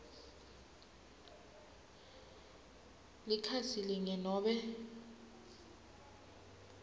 likhasi linye nobe